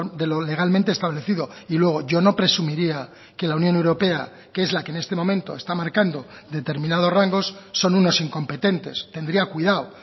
de lo legalmente establecido y luego yo no presumiría que la unión europea que es la que en este momento está marcando determinados rangos son unos incompetentes tendría cuidado